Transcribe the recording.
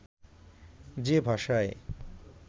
যে ভাষায়